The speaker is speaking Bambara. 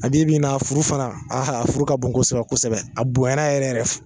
A bi bi in na a furu fana aa a furu ka bon kosɛbɛ kosɛbɛ a bon yɛrɛ yɛrɛ fu